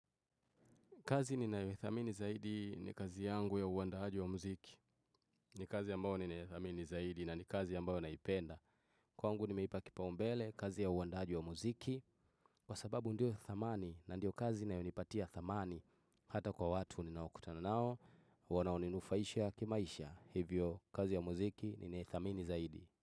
Kazi ninayothamini zaidi ni kazi yangu ya uandahaji wa muziki. Ni kazi ambao ni naethamini zaidi na ni kazi ambayo naipenda. Kwangu nimeipa kipaumbele kazi ya uandaaji wa muziki. Kwa sababu ndio ya thamani na ndio kazi na inayonipatia thamani. Hata kwa watu ninaokutana nao. Wanaoninufaisha kimaisha. Hivyo kazi ya muziki ninaithamini zaidi.